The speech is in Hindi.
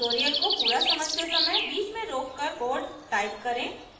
ट्यूटोरियल को पूरा समझते समय बीच में रोककर कोड टाइप करें